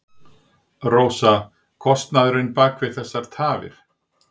Rósa: Kostnaðurinn bak við þessar tafir?